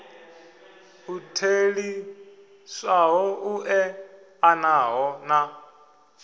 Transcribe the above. u theliswaho u eḓanaho na